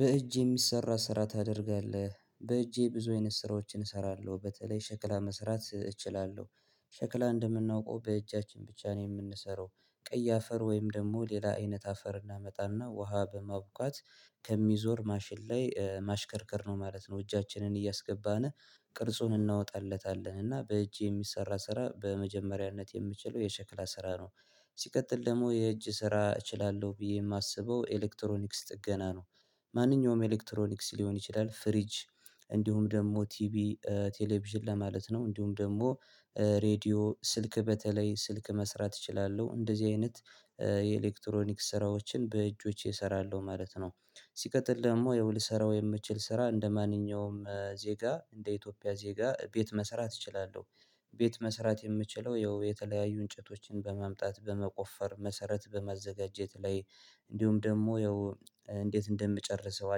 በእጅ የሚሰራ ስራ ታደርጋለህ በእጄ ብዙ አይነት ስራዎችን እሰራለሁ። በተለይ ሸክላ መስራት እችላለሁ። ሸክላ እንደምናውቀው በእጃችን ብቻ ነው የምንሰራው ቀይ አፈር ወይም ደግሞ ሌላ አይነት አፈር እናመጣና ውሃ በማቡካት ከሚዞር ማሽን ላይ ማሽከርከር ነው ማለት ነው። እጃችንን እያስገባን ቅርጹን እናወጣለታለን እና በእጅ የሚሰራ ስራ በመጀመሪያነት የምችለው የሸክላ ስራ ነው። ሲቀጥል ደግሞ የእጅ ስራ እችላለሁ ብዬ የማስበው ኤሌክትሮኒክስ ጥገና ነው። ማንኛውም ኤሌክትሮኒክስ ሊሆን ይችላል ፍሪጅ እንዲሁም ደግሞ ቲቪ ቴሌቪዥን ለማለት ነው፤ እንዲሁም ደግሞ ሬድዮ ስልክ በተለይ ስልክ መስራት እችላለሁ። እንደዚህ አይነት የኤሌክትሮኒክስ ስራዎችን በእጆቼ እሰራለሁ ማለት ነ። ሲቀጥል ደግሞ ያው ልሰራው የምችል ስራ እንደማንኛውም ዜጋ እንደ ኢትዮጵያ ዜጋ ቤት መሰራት እችላለሁ። ቤት መሰራት የምችለው ያው የተለያዩ እንጨቶችን በማምጣት በመቆፈር መሰረት በማዘጋጀት ላይ እንዲሁም ደግሞ ያው እንዴት እንደምጨርሰው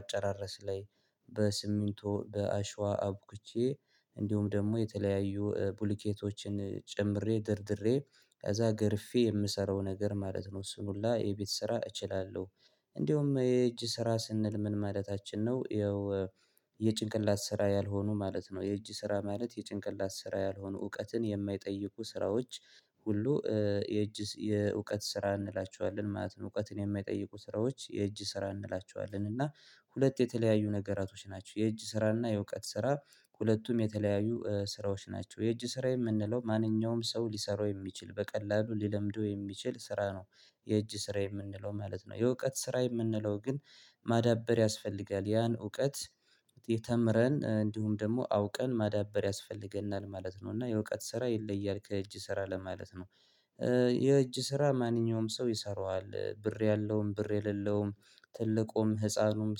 አጨራረስ ላይ በስሚንቱ በአሸዋ አብኩቼ እንዲሁም ደግሞ የተለያዩ ብሉኬቶችን ጨምሬ ደርድሬ ከዛ ገርፌ የምሰራው ነገር ማለት ነው እሱንሁላ የቤት ስራ እችላለሁ። እንዲሁም የእጅ ስራ ስንል ምን ማለታችን ነው? ያው የጭንቅላት ስራ ያልሆኑ ማለት ነው። የእጅ ስራ ማለት የጭንቅላት ስራ ያልሆኑ፣ እውቀትን የማይጠይቁ ስራዎች ሁሉ የእጅ የእውቀት ስራ እንላቸዋለን ማለት ነው። እውቀትን የማይጠይቁ ስራዎች የእጅ ስራ እንላቸዋለን እና ሁለት የተለያዩ ነገራቶች ናቸው። የእጅ ስራና የእውቀት ስራ ሁለቱም የተለያዩ ስራዎች ናቸው የእጅ ስራ የምንለው ማንኛውም ሰው ሊሰራው የሚችል በቀላሉ ሊለምደው የሚችል ስራ ነው። የእጅ ስራ የምንለው ማለት ነው የእውቀት ስራ የምንለው ግን ማዳበር ያስፈልጋል ያን እውቀት የተምረን እንዲሁም ደግሞ አውቀን ማዳበር ያስፈልገናል። ማለት ነው እና የእውቀት ስራ ይለያል ከእጅ ስራ ለማለት ነው። የእጅ ስራ ማንኛውም ሰው ይሰራዋል። ብር ያለውም፣ ብር የሌለውም፣ ትልቁም፣ ህፃኑም፣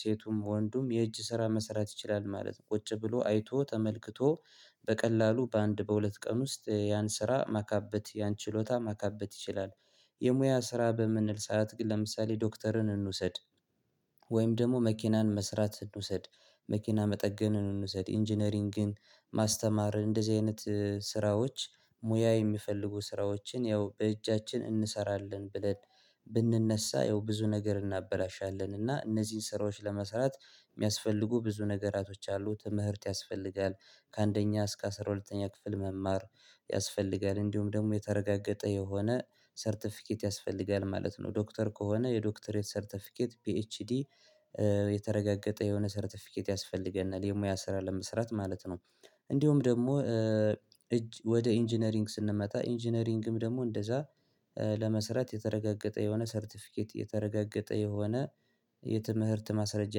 ሴቱም፣ ወንዱም የእጅ ስራ መሰራት ይችላል ማለት ነው። ቁጭ ብሎ አይቶ ተመልክቶ በቀላሉ በአንድ በሁለት ቀን ውስጥ ያን ስራ ማካበት ያን ችሎታ ማካበት ይችላል። የሙያ ስራ በምንል ሰዓት ለምሳሌ ዶክተርን እንውሰድ ወይም ደግሞ መኪናን መስራት እንውሰድ፣ መኪና መጠገንን እንውሰድ፣ ኢንጂነሪንግን፣ ማስተማር እንደዚህ አይነት ስራዎች ሙያ የሚፈልጉ ስራዎችን ያው በእጃችን እንሰራለን ብለን ብንነሳ ያው ብዙ ነገር እናበላሻለን። እና እነዚህን ስራዎች ለመስራት የሚያስፈልጉ ብዙ ነገራቶች አሉ። ትምህርት ያስፈልጋል፤ ከአንደኛ እስከ አስራ ሁለተኛ ክፍል መማር ያስፈልጋል እንዲሁም ደግሞ የተረጋገጠ የሆነ ሰርተፊኬት ያስፈልጋል ማለት ነው። ዶክተር ከሆነ የዶክተሬት ሰርተፊኬት ፒኤችዲ የተረጋገጠ የሆነ ሰርተፊኬት ያስፈልገናል። የሙያ ስራ ለመስራት ማለት ነው። እንዲሁም ደግሞ እጅ ወደ ኢንጂነሪንግ ስንመጣ ኢንጂነሪንግም ደግሞ እንደዛ ለመሰራት የተረጋገጠ የሆነ ሰርተፊኬት የተረጋገጠ የሆነ የትምህርት ማስረጃ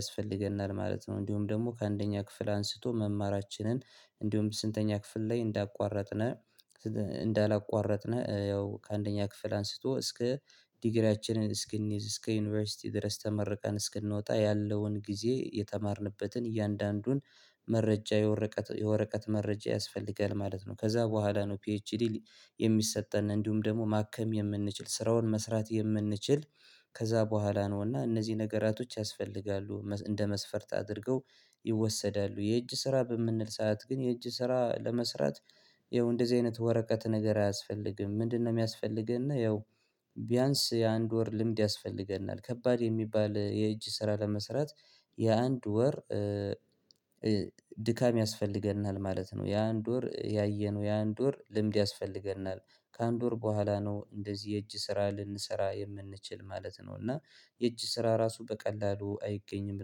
ያስፈልገናል ማለት ነው። እንዲሁም ደግሞ ከአንደኛ ክፍል አንስቶ መማራችንን እንዲሁም ስንተኛ ክፍል ላይ እንዳቋረጥነ እንዳ እንዳላቋረጥነ ያው ከአንደኛ ክፍል አንስቶ እስከ ዲግሪያችንን እስክንይዝ እስከዩኒቨርሲቲ ድረስ ተመርቀን እስክንወጣ ያለውን ጊዜ የተማርንበትን እያንዳንዱን መረጃ የወረቀት የወረቀት መረጃ ያስፈልጋል ማለት ነው። ከዛ በኋላ ነው ፒኤችዲ የሚሰጠን እንዲሁም ደግሞ ማከም የምንችል ስራውን መስራት የምንችል ከዛ በኋላ ነው እና እነዚህ ነገራቶች ያስፈልጋሉ። እንደ መስፈርት አድርገው ይወሰዳሉ። የእጅ ስራ በምንል ሰዓት ግን የእጅ ስራ ለመስራት ይኸው እንደዚህ አይነት ወረቀት ነገር አያስፈልግም። ምንድነው የሚያስፈልገነ ይኸው ቢያንስ የአንድ ወር ልምድ ያስፈልገና። ከባድ የሚባል የእጅ ስራ ለመስራት የአንድ ወር ድካም ያስፈልገናል ማለት ነው። የአንድ ወር ያየነው የአንድ ወር ልምድ ያስፈልገናል ከአንድ ወር በኋላ ነው እንደዚህ የእጅ ስራ ልንሰራ የምንችል ማለት ነው። እና የእጅ ስራ ራሱ በቀላሉ አይገኝም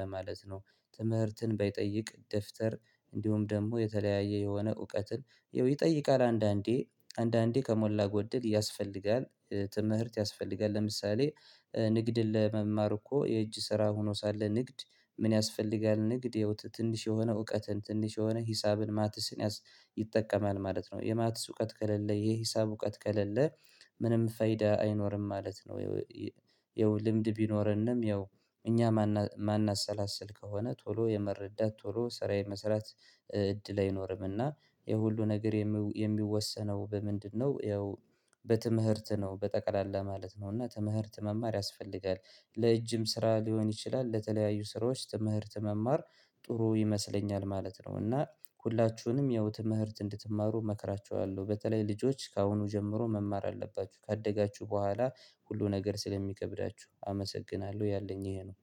ለማለት ነው። ትምህርትን ባይጠይቅ ደፍተር እንዲሁም ደግሞ የተለያየ የሆነ እውቀትን ይጠይቃል አንዳንዴ አንዳንዴ ከሞላ ጎደል ያስፈልጋ። ትምህርት ያስፈልጋል። ለምሳሌ ንግድን ለመማር እኮ የእጅ ስራ ሆኖ ሳለ ንግድ ምን ያስፈልጋል ንግድ የህይወት ትንሽ የሆነ እውቀትን ትንሽ የሆነ ሂሳብን ማትስን ይጠቀማል ማለት ነው። የማትስ እውቀት ከሌለ የሂሳብ እውቀት ከሌለ ምንም ፈይዳ አይኖርም ማለት ነው። ይኸው ልምድ ቢኖረንም ይኸው እኛ ማን ማናሰላስል ከሆነ ቶሎ የመረዳት ቶሎ ስራ መስራት እድል አይኖርምና የሁሉ ነገር የሚወሰነው በምንድነው ያው በትምህርት ነው በጠቅላላ ማለት ነው እና ትምህርት መማር ያስፈልጋል ለእጅም ስራ ሊሆን ይችላል ለተለያዩ ስራዎች ትምህርት መማር ጥሩ ይመስለኛል ማለት ነው። እና ሁላችሁንም ያው ትምህርት እንድትማሩ እመክራችኋለሁ። በተለይ ልጆች ከአሁኑ ጀምሮ መማር አለባችሁ። ካደጋችሁ በኋላ ሁሉ ነገር ስለሚከብዳችሁ አመሰግናለሁ። ያለኝ ይሄ ነው።